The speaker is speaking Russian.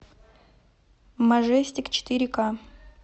мажестик четыре ка